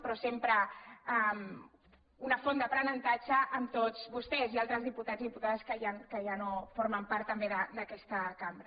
però sempre una font d’aprenentatge amb tots vostès i altres diputats i dipu·tades que ja no formen part també d’aquesta cambra